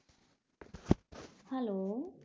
Hello